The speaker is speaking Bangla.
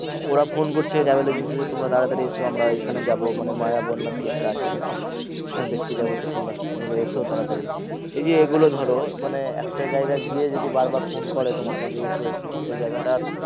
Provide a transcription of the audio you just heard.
ওরা ফোন করছে travel agency থেকে তোমরা তাড়াতাড়ি এসো আমরা এখানে যাবো মানে মায়াবন না কি একটা আছে ওখানে, ওখানে দেখতে যাবো তো তোমরা মানে এসো তাড়াতাড়ি এই যে এগুলো ধরো মানে একটা জায়গায় গিয়ে যদি বার বার ফোন করে তোমাকে যে এসো এসো সেই জায়গা টা আর